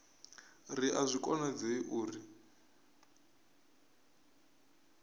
ri a zwi konadzei uri